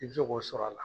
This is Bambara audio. I bɛ se k'o sɔr'a la